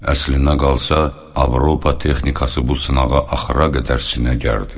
Əslinə qalsa, Avropa texnikası bu sınağa axıra qədər sinə gərdi.